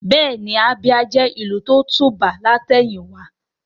Bẹ́ẹ̀ni Abia jẹ́ ìlú tó tùbà ní àtẹ̀yìn wá